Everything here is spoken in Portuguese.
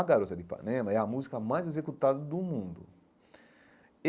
A Garota de Ipanema é a música mais executada do mundo.